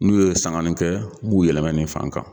N'u ye sangani kɛ n b'u yɛlɛma nin fan kan